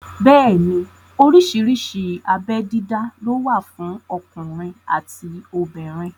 Bẹ́ẹ̀ni oríṣiríṣi abé dídá ló wà fún ọkùnrin àti obìnrin